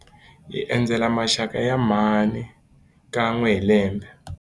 Hi endzela maxaka ya mhani kan'we hi lembe.